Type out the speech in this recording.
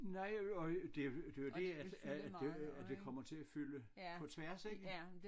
Nej og det det er jo det at at at det kommer til at fylde på tværs ik